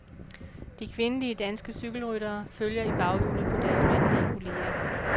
De kvindelige danske cykelryttere følger i baghjulet på deres mandlige kolleger.